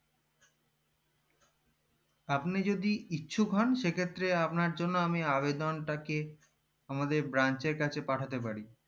আপনি যদি ইচ্ছুক হন সেক্ষেত্রে আপনার জন্য আমি আবেদন তাকে আমাদের branch কাছে পাঠাতে পারি